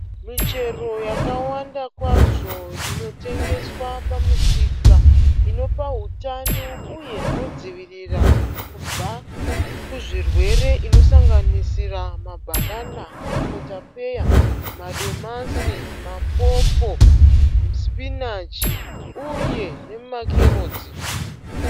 Michero yakawanda kwazvo inotengeswa pamusika. Inopa hutano uye inodzivirira kubva kuzvirwere. Inosanganisira mabhanana, makotapeya ,madomasi, ma popo, spinach uye nema carrots.